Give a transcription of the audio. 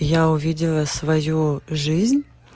я увидела свою жизнь